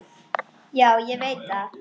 Já, ég veit það!